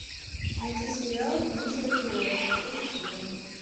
найти сериал нечего терять третий сезон